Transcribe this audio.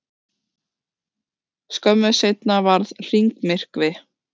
skömmu seinna varð hringmyrkvi